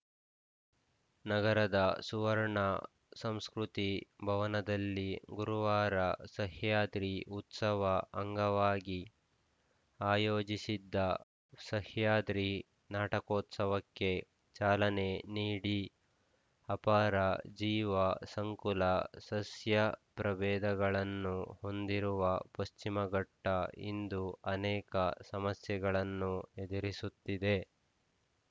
ನಗರದ ಸುವರ್ಣ ಸಂಸ್ಕೃತಿ ಭವನದಲ್ಲಿ ಗುರುವಾರ ಸಹ್ಯಾದ್ರಿ ಉತ್ಸವ ಅಂಗವಾಗಿ ಆಯೋಜಿಸಿದ್ದ ಸಹ್ಯಾದ್ರಿ ನಾಟಕೋತ್ಸವಕ್ಕೆ ಚಾಲನೆ ನೀಡಿ ಅಪಾರ ಜೀವ ಸಂಕುಲ ಸಸ್ಯ ಪ್ರಭೇದಗಳನ್ನು ಹೊಂದಿರುವ ಪಶ್ಚಿಮಘಟ್ಟ ಇಂದು ಅನೇಕ ಸಮಸ್ಯೆಗಳನ್ನು ಎದುರಿಸುತ್ತಿದೆ